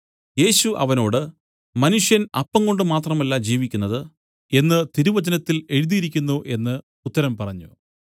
യേശു അവനോട് മനുഷ്യൻ അപ്പംകൊണ്ട് മാത്രമല്ല ജീവിക്കുന്നത് എന്നു തിരുവചനത്തിൽ എഴുതിയിരിക്കുന്നു എന്നു ഉത്തരം പറഞ്ഞു